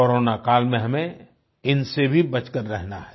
corona काल में हमें इनसे भी बचकर रहना है